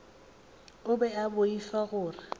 o be a boifa gore